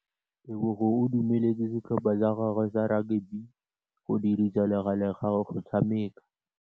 Tebogô o dumeletse setlhopha sa gagwe sa rakabi go dirisa le galê go tshameka.